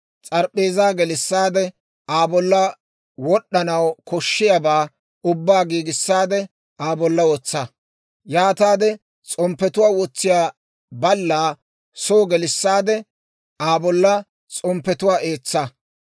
S'arp'p'eezaa gelissaade, Aa bolla wod'd'anaw koshshiyaabaa ubbaa giigisaadde Aa bolla wotsa. Yaataade s'omppetuwaa wotsiyaa ballaa soo gelissaade, Aa bolla s'omppetuwaa eetsa.